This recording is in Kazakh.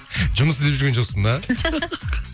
жұмыс іздеп жүрген жоқсың ба